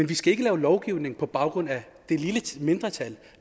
vi skal ikke lave lovgivning på baggrund af det lille mindretal